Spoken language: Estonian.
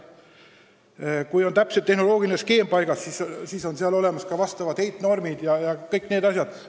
Vaja on paika panna täpne tehnoloogiline skeem, mille puhul on kindel, et arvesse võetakse kõiki heitmete norme jms.